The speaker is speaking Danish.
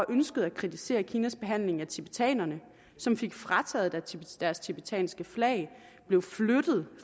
ønskede at kritisere kinas behandling af tibetanerne fik frataget deres tibetanske flag og blev flyttet